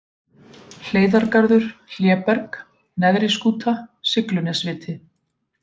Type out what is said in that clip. Hleiðargarður, Hléberg, Neðri-Skúta, Siglunesviti